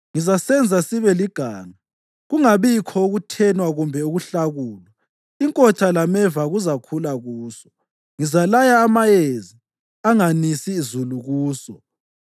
Ngizasenza sibe liganga kungabikho ukuthenwa kumbe ukuhlakulwa; inkotha lameva kuzakhula kuso. Ngizalaya amayezi anganisi zulu kuso.”